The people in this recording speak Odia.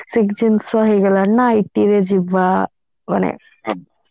basic ଜିନିଷ ହେଇଗଲାଣି ନା IT ରେ ଯିବା